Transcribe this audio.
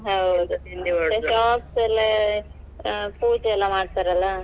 ಹೌದು ಪೂಜೆಯೆಲ್ಲ ಮಾಡ್ತಾರೆ ಅಲ್ಲಾ .